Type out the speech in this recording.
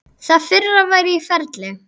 Það fyrra væri í ferli.